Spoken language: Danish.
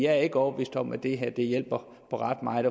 er ikke overbevist om at det her hjælper ret meget